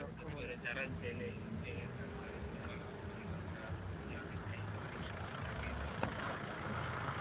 যারা জেলে জেলের কাজ পারে কিংবা মনে করো যারা পুকুরে অনেক time অনেক সময় থাকে তাদের সেটা অভ্যাস হয়ে যায়,